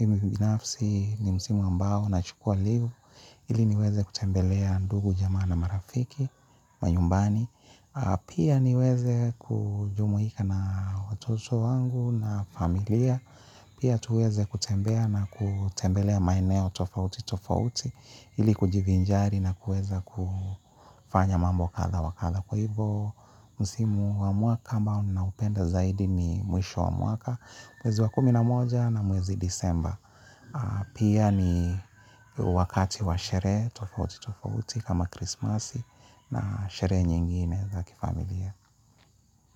Mimi binafsi ni msimu ambao nachukua leave. Ili niweze kutembelea ndugu jamaa na marafiki wa nyumbani, pia niweze kujumuika na watoto wangu na familia, pia tuweze kutembea na kutembelea maeneo tofauti tofauti ili kujivinjari na kuweza kufanya mambo kadha wa kadha. Kwa hivyo msimu wa mwaka ambao ninaupenda zaidi ni mwisho wa mwaka mwezi wa kumi na moja na mwezi desemba. Pia ni wakati wa sherehe tofauti tofauti kama krismasi. Na sherehe nyingine za kifamilia.